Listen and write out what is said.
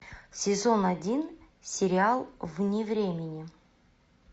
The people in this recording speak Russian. сезон один сериал вне времени